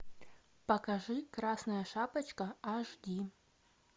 покажи красная шапочка аш ди